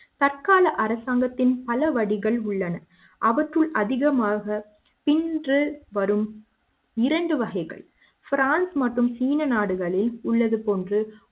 தற்கால அரசாங்கத்தின் பல வடிகள் உள்ளன அவற்றுள் அதிகமாக பின்வரும் இரண்டு வகைகள் பிரான்ஸ் மற்றும் சீன நாடுகளில் உள்ளது போன்று